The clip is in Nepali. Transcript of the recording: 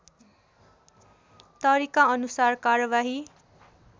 तरिका अनुसार कारबाही